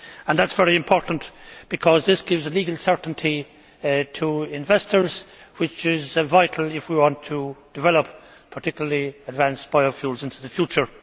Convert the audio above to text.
That is very important because this gives a legal certainty to investors which is vital if we want to develop particularly advanced biofuels into the future.